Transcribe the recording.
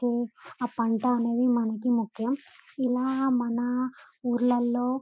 ఆ పంట అనేది మనకి ముఖ్యం ఇలా మన ఊర్లళ్లో--